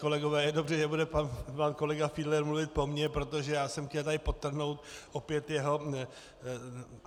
Kolegové, je dobře, že bude pan kolega Fiedler mluvit po mně, protože já jsem chtěl tady podtrhnout opět jeho.